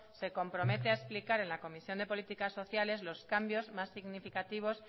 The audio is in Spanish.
se compromete a explicar en la comisión de políticas sociales los cambios más significativos